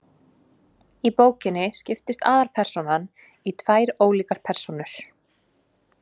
Í bókinni skiptist aðalpersónan í tvær ólíkar persónur.